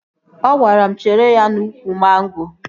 Ọ gwara m chere ya n'ụkwụ mangoro